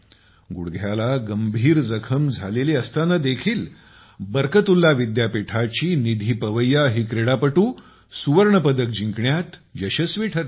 गुडघ्याला गंभीर जखम झालेली असताना देखील बर्कतुल्ला विद्यापीठाची निधी पवैया ही क्रीडापटू सुवर्णपदक जिंकण्यात यशस्वी ठरली